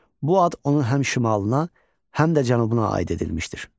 Bu ad onun həm şimalına, həm də cənubuna aid edilmişdir.